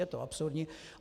Je to absurdní.